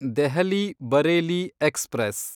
Delhi Bareilly express